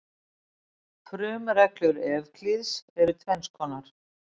Frumreglur Evklíðs eru tvenns konar.